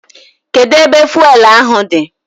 Kedu ebe fụelụ ahụ dị?